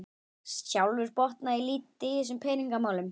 Sjálfur botna ég lítið í þessum peningamálum